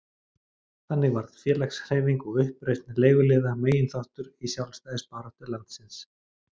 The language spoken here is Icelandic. Þannig varð félagshreyfing og uppreisn leiguliða meginþáttur í sjálfstæðisbaráttu landsins.